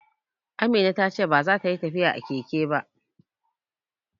Amina ta ce baza ta yi tafiya a keke ba